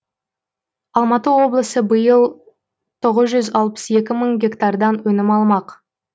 алматы облысы биыл тоғыз жүз алпыс екі мың гектардан өнім алмақ